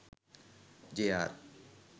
JR